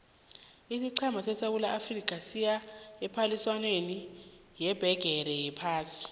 isiqhema sesewula afrika siya ephaliswaneni yebhigiri yephasi